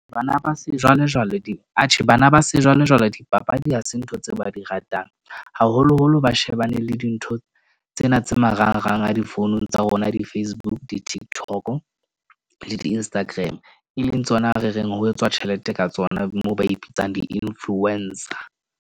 Bana ba sejwalejwale atjhe bana ba sejwalejwale dipapadi ha se ntho tseo ba di ratang, haholoholo ba shebane le dintho tsena tse marangrang a difounung tsa rona. Di- Facebook, di-tiktok-o le di-Instagram, e leng tsona re reng ho etswa tjhelete ka tsona, mo ba ipitsang di-influencer.